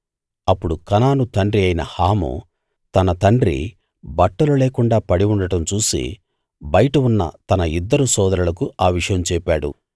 అప్పుడు కనాను తండ్రి అయిన హాము తన తండ్రి బట్టలు లేకుండా పడి ఉండడం చూసి బయట ఉన్న తన ఇద్దరు సోదరులకు ఆ విషయం చెప్పాడు